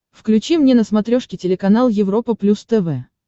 включи мне на смотрешке телеканал европа плюс тв